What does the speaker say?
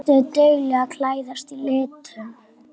Ertu dugleg að klæðast litum?